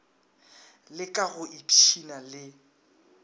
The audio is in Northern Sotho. le ka go ipshina le